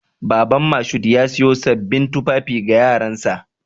Baban Mashood ya siyo sabbin tufafi ga yaransa.